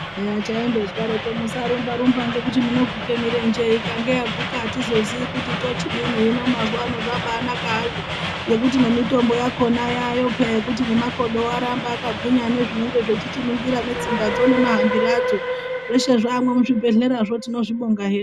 Eya taindozwaaroko ,musarumba rumba ngekuti muneguke mirenje ikange yaguka atizozii kuti tochidini, hino mazuwa ano zvaaba anaka hazvo ngekuti nemitombo yakona yaayo peya nekuti nemakodowo arambe akagwinya nezvinenge zveichiningira netsinga dzo nemahambire adzo zveshe zvaamwo muchibhehleyamwo tinozvibonga hedu.